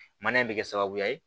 Mana in bɛ kɛ sababuya ye